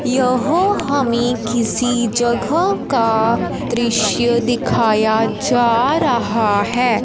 यह हमें किसी जगह का दृश्य दिखाया जा रहा है।